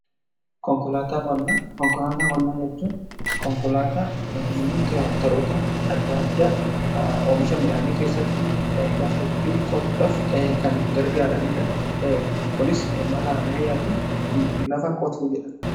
Konkolaataa qonnaa jechuun konkolaataa yookaan tiraaktaroota adda adda oomisha midhaanii keessatti lafa ittiin qotuhaf kan gargaaraniidha. Kunis mala ammayyaatiin lafa qotu jedhama.